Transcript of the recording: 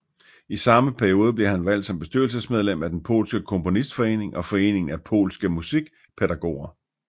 I samme periode blev han valgt som bestyrelsesmedlem af den polske Komponistforening og Foreningen af Polske Musikpædagoger